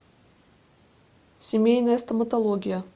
семейная стоматология